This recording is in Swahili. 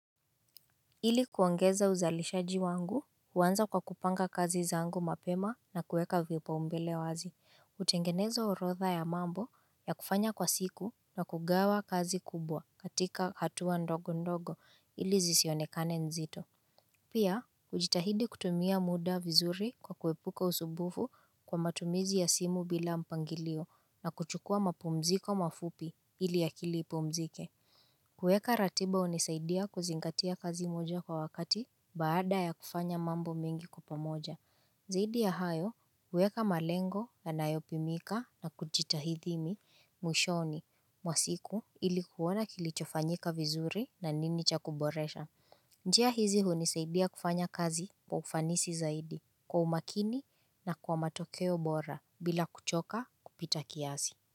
Ili kuongeza uzalishaji wangu, huanza kwa kupanga kazi zangu mapema na kueka vipa umbele wazi, utengenezo urodha ya mambo ya kufanya kwa siku na kugawa kazi kubwa katika hatua ndogo ndogo ili zisionekane nzito Pia, ujitahidi kutumia muda vizuri kwa kuepuka usumbufu kwa matumizi ya simu bila mpangilio na kuchukua mapumziko mafupi ili akili ipumzike kuweka ratiba hunisaidia kuzingatia kazi moja kwa wakati baada ya kufanya mambo mengi kwa pamoja. Zaidi ya hayo, huweka malengo yanayopimika na kujiitahidi ni mwishoni, mwa siku ili kuona kilichofanyika vizuri na nini cha kuboresha. Njia hizi hunisaidia kufanya kazi kwa ufanisi zaidi kwa umakini na kwa matokeo bora bila kuchoka kupita kiasi.